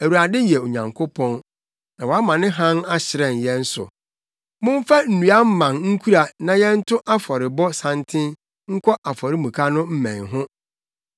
Awurade yɛ Onyankopɔn, na wama ne hann ahyerɛn yɛn so. Momfa nnua mman nkura na yɛnto afɔrebɔ santen nkɔ afɔremuka no mmɛn ho.